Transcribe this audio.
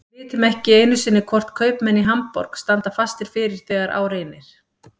Við vitum ekki einu sinni hvort kaupmenn í Hamborg standa fastir fyrir þegar á reynir.